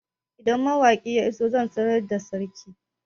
Idan mawakin ya iso zan sanar da sarki